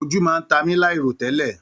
Ojú máa n mí láì ro tẹlẹ.